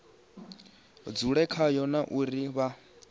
dzule khayo na uri vha